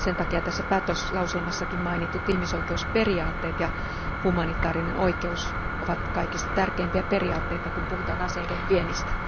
Sen takia tässä päätöslauselmassakin mainitut ihmisoikeusperiaatteet ja humanitaarinen oikeus ovat kaikista tärkeimpiä periaatteita, kun puhutaan aseiden viennistä.